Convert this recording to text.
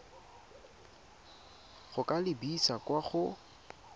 go ka lebisa kwa go